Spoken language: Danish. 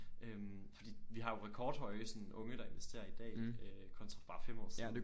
Øh fordi vi har jo sådan rekord høje sådan unge der investerer i dag øh kontra for bare 5 år siden